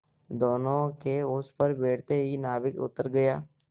दोेनों के उस पर बैठते ही नाविक उतर गया